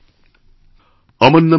sound byte